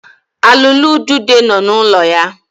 Alụụlu udide nọ n'ụlọ ya.